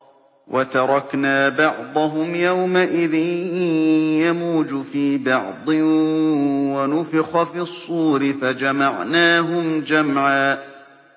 ۞ وَتَرَكْنَا بَعْضَهُمْ يَوْمَئِذٍ يَمُوجُ فِي بَعْضٍ ۖ وَنُفِخَ فِي الصُّورِ فَجَمَعْنَاهُمْ جَمْعًا